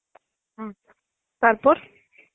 হম তারপর?